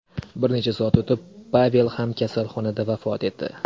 Bir necha soat o‘tib Pavel ham kasalxonada vafot etdi.